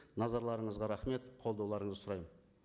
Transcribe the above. назарларыңызға рахмет қолдауларыңызды сұраймын